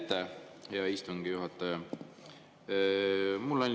Aitäh, hea istungi juhataja!